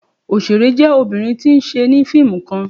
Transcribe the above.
Oṣere jẹ obinrin ti n ṣe ni fiimu kan